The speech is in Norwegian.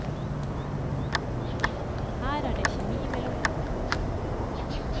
Her er det kjemi mellom ord.